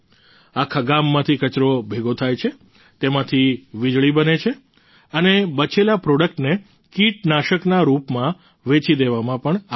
આખા ગામમાંથી કચરો ભેગો થાય છે તેમાંથી વિજળી બને છે અને બચેલા પ્રોડક્ટને કિટનાશકના રૂપમાં વેચી દેવામાં પણ આવે છે